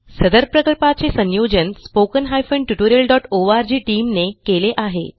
सदर प्रकल्पाचे संयोजन spoken tutorialओआरजी टीम ने केले आहे